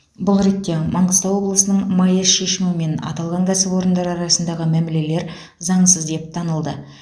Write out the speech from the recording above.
бұл ретте маңғыстау облысының маэс шешімімен аталған кәсіпорындар арасындағы мәмілелер заңсыз деп танылды